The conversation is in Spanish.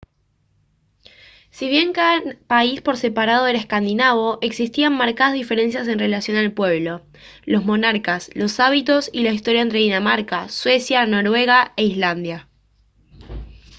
si bien cada país por separado era «escandinavo» existían marcadas diferencias en relación al pueblo los monarcas los hábitos y la historia entre dinamarca suecia noruega e islandia